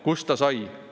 Kust ta sai?